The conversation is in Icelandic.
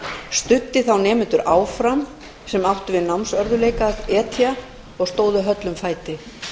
studdi þá nemendur áfram sem áttu við námsörðugleika að etja og stóðu höllum fæti